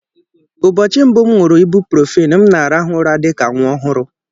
Ụbọchị mbụ m nuru ibuprofen, m na-arahụ ụra dị ka nwa ọhụrụ.